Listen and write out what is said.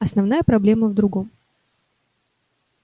основная проблема в другом